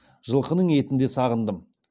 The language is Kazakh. жылқының етін де сағындым